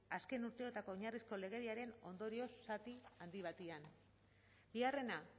azken urteotako oinarrizko legediaren ondorioz zati handi batean bigarrena